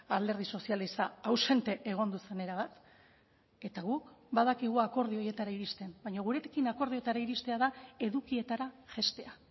alderdi sozialista ausente egon zen erabat eta guk badakigu akordio horietara iristen baina gurekin akordioetara iristea da edukietara jaistea